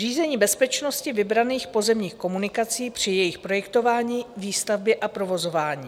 Řízení bezpečnosti vybraných pozemních komunikací při jejich projektování, výstavbě a provozování.